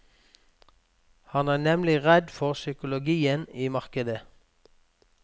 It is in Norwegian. Han er nemlig redd for psykologien i markedet.